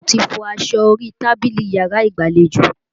Mo ti fọ aṣọ orí tábìlì yàrá ìgbàlejò